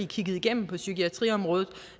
kigge igennem på psykiatriområdet